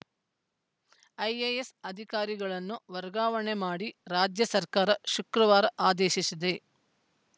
IAS ಅಧಿಕಾರಿಗಳನ್ನು ವರ್ಗಾವಣೆ ಮಾಡಿ ರಾಜ್ಯ ಸರ್ಕಾರ ಶುಕ್ರವಾರ ಆದೇಶಿಸಿದೆ